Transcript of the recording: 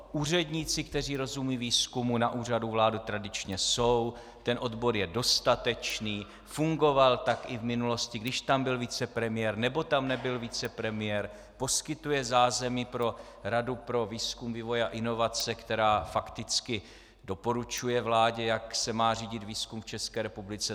Úředníci, kteří rozumějí výzkumu, na Úřadu vlády tradičně jsou, ten odbor je dostatečný, fungoval tak i v minulosti, když tam byl vicepremiér, nebo tam nebyl vicepremiér, poskytuje zázemí pro Radu pro výzkum, vývoj a inovace, která fakticky doporučuje vládě, jak se má řídit výzkum v České republice.